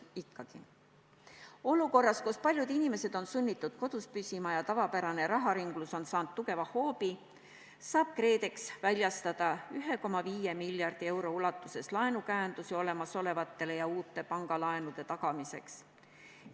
Olukorras, kus paljud inimesed on sunnitud kodus püsima ja tavapärane raharinglus on saanud tugeva hoobi, saab KredEx väljastada 1,5 miljardi euro ulatuses laenukäendusi olemasolevate ja uute pangalaenude tagamiseks.